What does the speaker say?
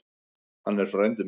Hann er frændi minn.